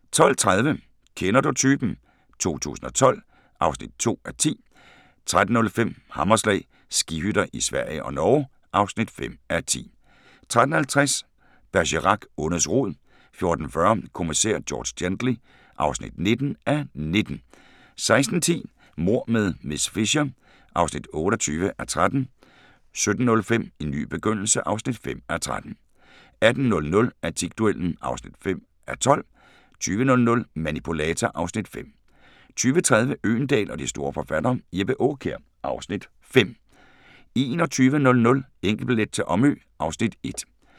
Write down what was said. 12:30: Kender du typen? 2012 (2:10) 13:05: Hammerslag - skihytter i Sverige og Norge (5:10) 13:50: Bergerac: Ondets rod 14:40: Kommissær George Gently (19:19) 16:10: Mord med miss Fisher (28:13) 17:05: En ny begyndelse (5:13) 18:00: Antikduellen (5:12) 20:00: Manipulator (Afs. 5) 20:30: Øgendahl og de store forfattere: Jeppe Aakjær (Afs. 5) 21:00: Enkeltbillet til Omø (Afs. 1)